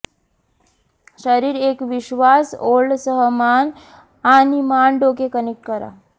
शरीर एक विश्वास ओळ सह मान आणि मान डोके कनेक्ट करा